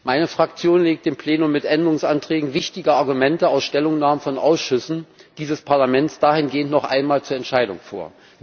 Meine Fraktion legt dem Plenum mit Änderungsanträgen wichtige Argumente aus Stellungnahmen von Ausschüssen dieses Parlaments dahingehend noch einmal zur Entscheidung vor.